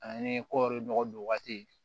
Ani kɔɔri nɔgɔ don waati